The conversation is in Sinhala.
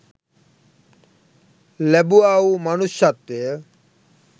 ලැබුවා වූ මනුෂ්‍යත්වය